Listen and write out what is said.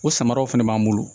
O samaraw fɛnɛ b'an bolo